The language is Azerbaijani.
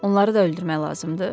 Onları da öldürmək lazımdır?